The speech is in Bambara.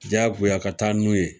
Diyagoya ka taa n'o ye